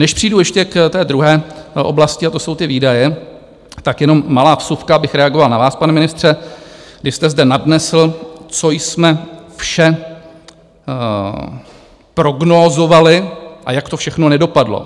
Než přejdu ještě k té druhé oblasti, a to jsou ty výdaje, tak jenom malá vsuvka, abych reagoval na vás, pane ministře, když jste zde nadnesl, co jsme vše prognózovali a jak to všechno nedopadlo.